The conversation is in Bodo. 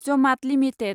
जमात लिमिटेड